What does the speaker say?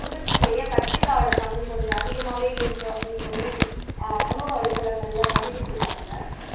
உற்பத்தி செய்ய கத்தரிக்காயோட பங்கு கொஞ்சம் அதிகமாவே இருக்கு அப்படி சொல்லி அஹ் சமூக வலைத்தளங்கள்ல பதிவிட்டிருக்காங்க